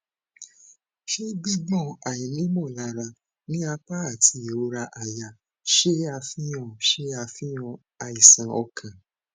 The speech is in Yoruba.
ṣe gbigbọn aini molara ni apa ati irora àyà ṣe afihan ṣe afihan aisan okan